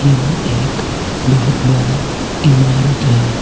यह एक बहोत बड़ा इमारत है।